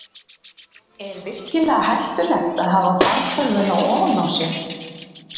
Er virkilega hættulegt að hafa fartölvuna ofan á sér?